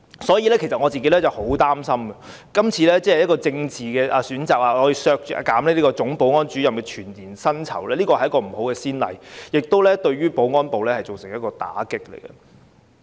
所以，我其實很擔心，今次因為政治原因，而要削減總保安主任的全年薪酬預算開支並非一個好先例，而且亦會對保安部門造成打擊。